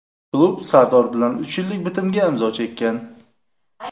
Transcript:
Klub Sardor bilan uch yillik bitimga imzo chekkan.